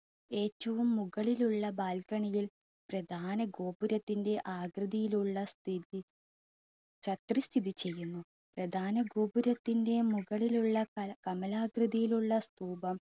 ഏറ്റവും മുകളിലുള്ള balcony യിൽ പ്രദാന ഗോപുരത്തിൻ്റെ ആകൃതിയിൽ ഉള്ള പ്രധാന ഗോപുരത്തിൻ്റെ മുകളിലുള്ള കമലാകൃതിയിലുള്ള സ്തൂപം